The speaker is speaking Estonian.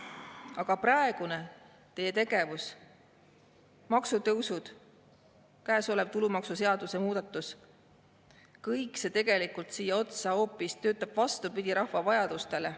Aga teie praegune tegevus – maksutõusud, käesolev tulumaksuseaduse muudatus –, kõik see töötab hoopis vastupidi rahva vajadustele.